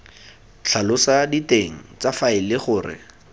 tlhalosa diteng tsa faele gore